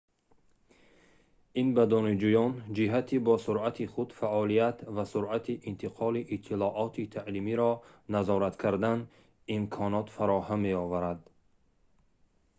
ин ба донишҷӯён ҷиҳати бо суръати худ фаъолият ва суръати интиқоли иттилооти таълимиро назорат кардан имконот фароҳам меоварад